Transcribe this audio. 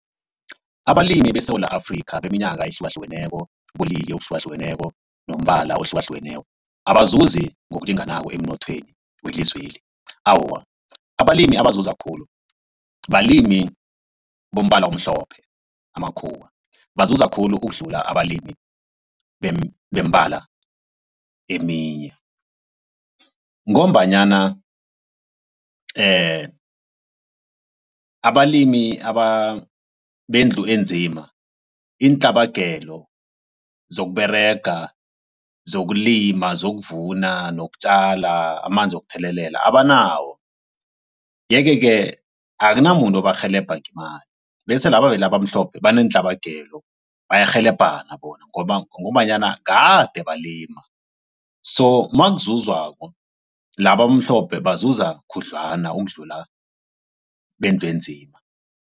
Abalimi beSewula Afrika beminyaka ehlukahlukeneko ubulili obuhlukahlukeneko nombala ohlukahlukeneko abazuzi ngokulinganako emnothweni welizweli. Awa, abalimi abazuza khulu balimi bombala omhlophe amakhuwa bazuza khulu ukudlula abalimi bembala eminye ngombanyana abalimi bendlu enzima iintlabagelo zokuberega, zokulima zokuvuna, nokutjala amanzi wokuthelelela abanawo. Yeke-ke akunamuntu obarhelebha ngemali bese laba abamhlophe baneentlabagelo bayarhelebhana bona ngombanyana gade balima so makuzuzwako laba abamhlophe bazuza khudlwana ukudlula bendlu enzima.